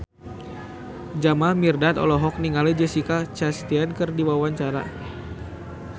Jamal Mirdad olohok ningali Jessica Chastain keur diwawancara